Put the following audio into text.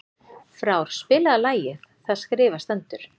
Frár, spilaðu lagið „Það skrifað stendur“.